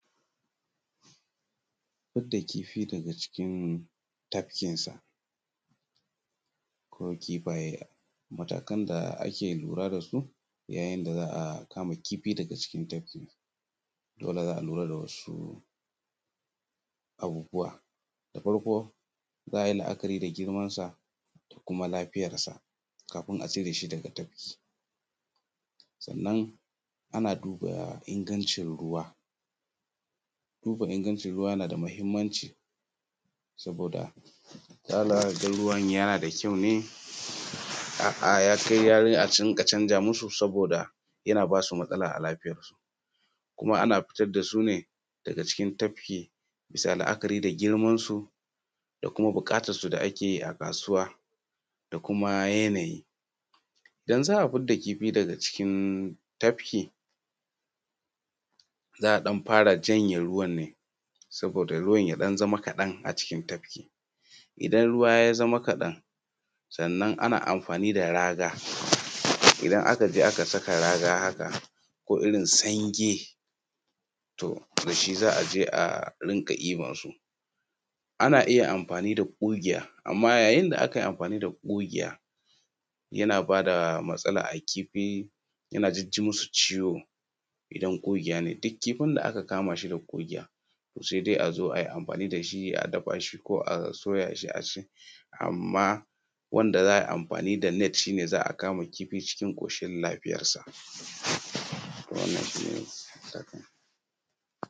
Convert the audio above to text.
Fitar da kifi daga ciki tafkinsa ko kifaye, matakan da ake lura da su yayin dav za akama kifi dafmga cikin tafkisa dole za alura da wsu abubuwa. Da farko za a yi la'akari da girmansa da kuma lafiyars kafin a cire shi fmdag tafki. Daga nan ana duba ingancin ruwa, duba ingancin ruwa yana da mahimmanci saboda hala za ka ga ruwan yana da ƙyau ya kai a riƙa canza musu saboda yana ba su matsala a lafiyarsu kuma tafki bisa la'akari da girman da kuma buƙatarsu da ake yi a kasuwa da kuma yanayi. Yanzu za a fidda kifi daga cikin tafki za a ɗan fara janye ruwan ne saboda ruwan ya ɗan zama kadan a ciki tafki. Idan ruwa ya zama kaɗan ana amfani da raga, idan aka je aka saka raga haka komirin sange da sh i za je a rika ɗibarsu. Ana iya amafani da ƙugiya amma yyayin da aka yi amfani da ƙugiya yana ba da matsala a kifi yana ji musu ciwo idan ƙugiya ne, duk kifin da aka kama shi da ƙugiya sai dai a zo a yi amfani da shi ko dafa shi ko a soya shi a ci amma wanda za a yi amfani da net shi za a kama kfi cikin koshin lafiyasa .Wannan shi ne.